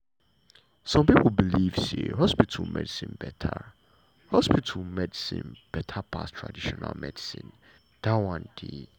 some pipo believe say hospital medicine beta hospital medicine beta pass traditional medicine dat one dey.